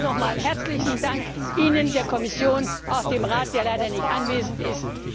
Allen noch einmal herzlichen Dank, Ihnen, der Kommission, auch dem Rat, der leider nicht anwesend ist.